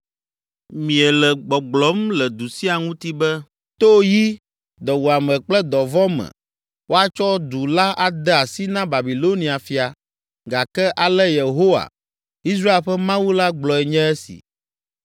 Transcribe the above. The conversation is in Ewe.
Miele gbɔgblɔm le du sia ŋuti be, “To yi, dɔwuame kple dɔvɔ̃ me, woatsɔ du la ade asi na Babilonia fia,” gake ale Yehowa, Israel ƒe Mawu la gblɔe nye esi: